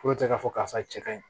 k'a fɔ karisa cɛ ka ɲi